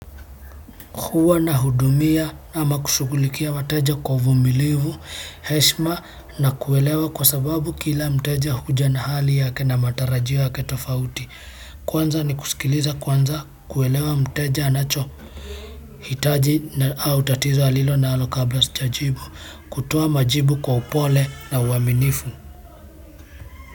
Huwa na hudumia ama kushughulikia wateja kwa uvumilivu, heshima na kuelewa kwa sababu kila mteja huja na hali yake na matarajio yake tofauti. Kwanza ni kusikiliza kwanza kuelewa mteja anacho hitaji na au tatizo alilo nalo kabla sijajibu, kutoa majibu kwa upole na uaminifu.